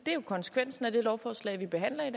er jo konsekvensen af det lovforslag vi behandler i